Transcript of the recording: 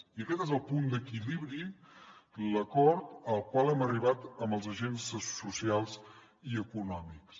i aquest és el punt d’equilibri l’acord al qual hem arribat amb els agents socials i econòmics